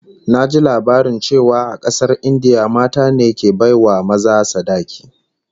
Naji labarin cewa a kasar India mata ne ke bai wa maza sadaki